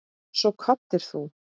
Svo kvaddir þú.